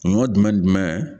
Ɲɔ jumɛn ni jumɛn ?